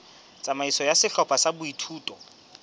tsamaiso ya sehlopha sa boithuto